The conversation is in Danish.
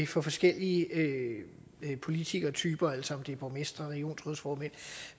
for forskellige politikertyper altså om det er borgmestre regionsrådsformænd